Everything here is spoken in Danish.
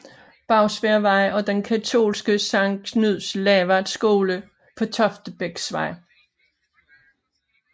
Bagsværdvej og den katolske Sankt Knud Lavard Skole på Toftebæksvej